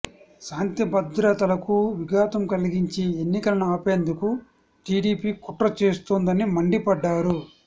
శాంతిభద్రతలకు విఘాతం కలిగించి ఎన్నికలను ఆపేందుకు టీడీపీ కుట్ర చేస్తోందని మండిపడ్డారు